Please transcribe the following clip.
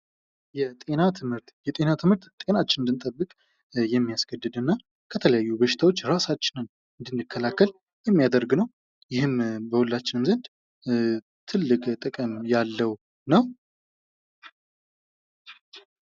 የጤና ትምህርት የጤና ትምህርት ጤናችንን እንድንጠብቅ የሚያስገድድና ከተለያዩ በሽታዎች የራሳችንን እንድንከላከል የሚያደርግ ነው ይህም በሁላችንም ዘንድ ትልቅ ጥቅም ያለው ነው ::